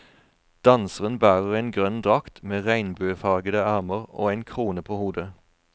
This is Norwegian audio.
Danseren bærer en grønn drakt, med regnbuefarede ermer og en krone på hodet.